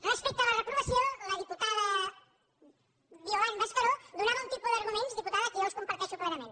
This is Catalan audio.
respecte a la reprovació la diputada violant mascaró donava un tipus d’argument diputada que jo els comparteixo plenament